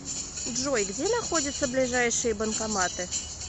джой где находятся ближайшие банкоматы